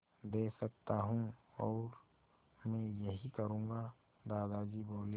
दे सकता हूँ और मैं यही करूँगा दादाजी बोले